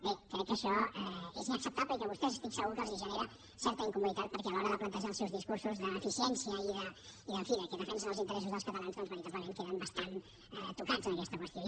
bé crec que això és inacceptable i que a vostès estic segur que els genera certa incomoditat perquè a l’hora de plantejar els seus discursos d’eficiència i en fi que defensen els interessos dels catalans doncs veritablement queden bastant tocats en aquesta qüestió